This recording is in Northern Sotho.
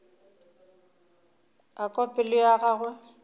a kwa pelo ya gagwe